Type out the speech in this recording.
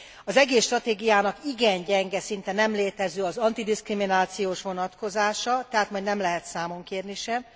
Az egész stratégiának igen gyenge, szinte nem létező az antidiszkriminációs vonatkozása, tehát majd nem lehet számon kérni sem.